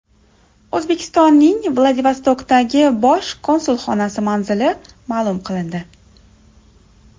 O‘zbekistonning Vladivostokdagi bosh konsulxonasi manzili ma’lum qilindi.